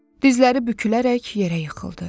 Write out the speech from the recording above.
Dizləri bükülərək yerə yıxıldı.